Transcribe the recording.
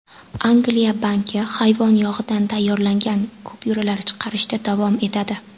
Angliya banki hayvon yog‘idan tayyorlangan kupyuralar chiqarishda davom etadi.